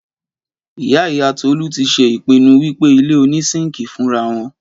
Ìyá ìyá Tọ́lá ti ṣe ìpinnu wípé ilé oní síńkì fúnrawon